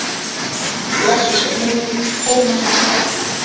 Blessuð sé minning Tómasar Árna.